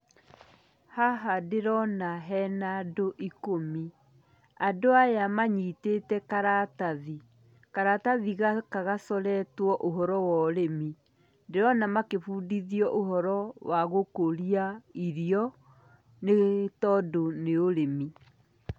Haha ndĩrona hena andũ ikũmi, andũ aya manyitĩte karatathi. Karatathi gaka gacoretũo ũhoro wa ũrĩmi. Ndĩrona makĩbundithio ũhoro wa gũkũria irio nĩtondũ nĩ ũrĩmi.